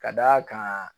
Ka d'a kan